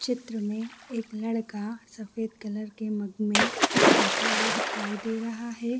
चित्र में एक लड़का सफ़ेद कलर के मग में कुछ पीता हुआ दिखाई दे रहा है।